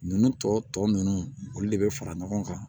Ninnu tɔ ninnu olu de bɛ fara ɲɔgɔn kan